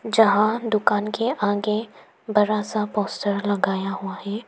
जहां दुकान के आगे बड़ा सा पोस्टर लगाया हुआ है।